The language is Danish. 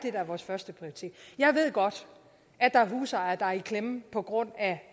er vores førsteprioritet jeg ved godt at der er husejere der er i klemme på grund